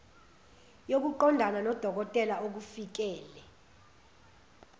yokuqondana nodokotela okufikele